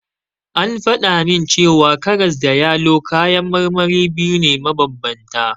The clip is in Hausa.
An faɗa min cewa karas da yalo kayan marmari biyu ne mabanbanta.